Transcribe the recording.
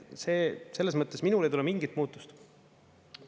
Selles mõttes minul ei tule mingit muutust.